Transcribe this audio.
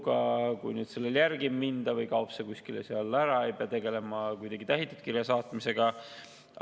Ja kui näiteks kirjale järele ei minda või kaob see kuskile ära, siis ei pea tegelema tähitud kirja saatmisega.